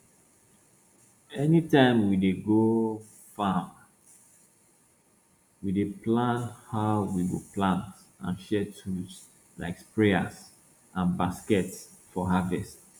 anytime we dey go farm we dey plan how we go plant and share tools like sprayers and baskets for harvest